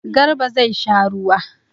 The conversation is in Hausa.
Garba zai sha ruwa.